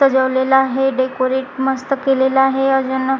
सजवलेलं आहे डेकोरेट मस्त केलेल आहे योजना--